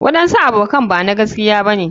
waɗansu abokan Bama gaskiya bane.